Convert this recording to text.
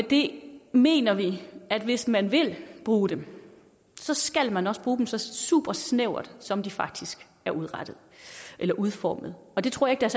det mener vi at hvis man vil bruge dem så skal man også bruge dem så super snævert som de faktisk er udformet og det tror jeg